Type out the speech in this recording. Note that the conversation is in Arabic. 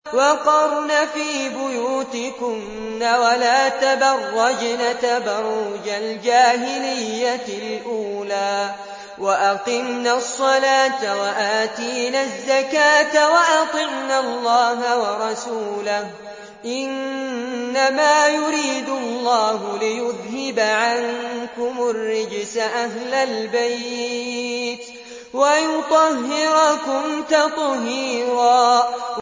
وَقَرْنَ فِي بُيُوتِكُنَّ وَلَا تَبَرَّجْنَ تَبَرُّجَ الْجَاهِلِيَّةِ الْأُولَىٰ ۖ وَأَقِمْنَ الصَّلَاةَ وَآتِينَ الزَّكَاةَ وَأَطِعْنَ اللَّهَ وَرَسُولَهُ ۚ إِنَّمَا يُرِيدُ اللَّهُ لِيُذْهِبَ عَنكُمُ الرِّجْسَ أَهْلَ الْبَيْتِ وَيُطَهِّرَكُمْ تَطْهِيرًا